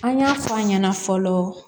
An y'a fɔ an ɲɛna fɔlɔ